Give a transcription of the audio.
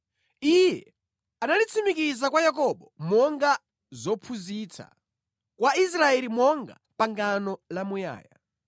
Iye analitsimikiza kwa Yakobo monga zophunzitsa, kwa Israeli monga pangano lamuyaya: